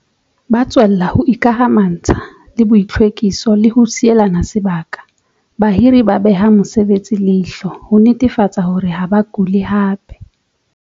Ba tswella ho ikamantsha le boitlhwekiso le ho sielana sebaka. Bahiri ba beha mosebetsi leihlo ho netefatsa hore ha ba kule hape.